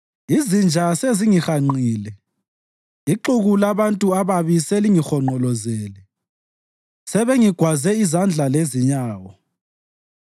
Izinja sezingihanqile; ixuku labantu ababi selingihonqolozele, sebengigwaze izandla lezinyawo.